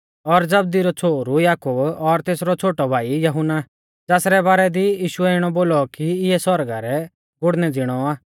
और जबदी रौ छ़ोहरु याकूब और तेसरौ छ़ोटौ भाई यहुन्ना ज़ासरै बारै दी यीशुऐ इणौ बोलौ कि इऐ सौरगा रै गुड़णै ज़िणौ आ